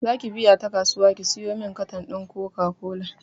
Zaki biya ta kasuwa ki siyomin katan ɗin koka kola?